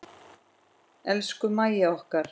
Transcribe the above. Elsku Mæja okkar.